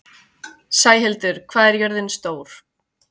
Sæhildur, hvað er jörðin stór?